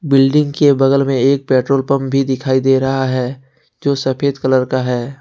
Building के बगल में एक पेट्रोल पंप भी दिखाई दे रहा है जो सफेद कलर का है।